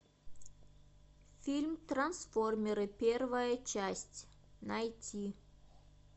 фильм трансформеры первая часть найти